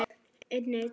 Nú má tala um þá.